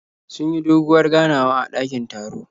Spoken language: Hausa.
Sun yi doguwar ganawa a dakin taron.